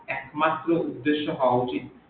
একমাত্র উদেশ্য হওয়া উচিত